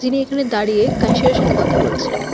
উনি এখানে দাঁড়িয়ে সাথে কথা বলছেন।